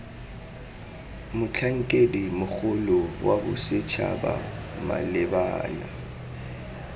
motlhankedi mogolo wa bosetšhaba malebana